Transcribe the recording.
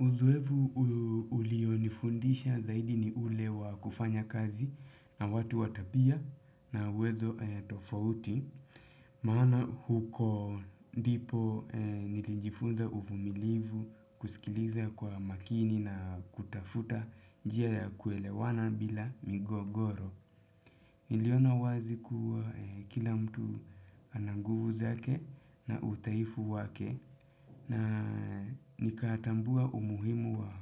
Uzoefu ulionifundisha zaidi ni ule wa kufanya kazi na watu wa tabia na uwezo tofauti, maana huko ndipo nilijifunza uvumilivu kusikiliza kwa makini na kutafuta njia ya kuelewana bila migogoro. Niliona wazi kuwa kila mtu ana nguvu zake na udhaifu wake na nikatambua umuhimu wa